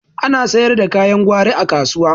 Ana sayar da kayan gwari a kasuwa